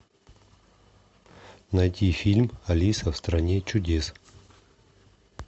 найти фильм алиса в стране чудес